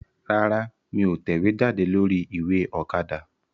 Rárá, mí ò tẹ̀wéjáde lórí ìwé Òkadà